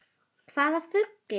Hvaða fluga?